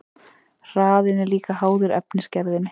Hraðinn er líka háður efnisgerðinni.